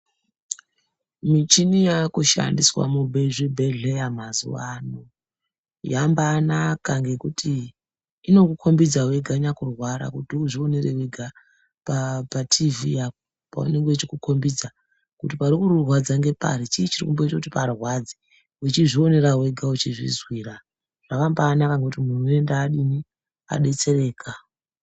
Michini yaakushandiswa muzvibhedhleya mazuwa ano yambaanaka ngekuti inokukhombidza wega nyakurwara kuti uzvionere wega pachivhitivhiti apa paanonga echikukhombidza kuti parikurwadza ngepari, chiini chirikumboita kuti parwadze wechizvionera wega wechizvizwira. Zvakambaanaka ngekuti muntu unoenda adini? Adetsereka.